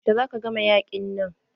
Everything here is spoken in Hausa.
Yaushe za ku gama yaƙin nan?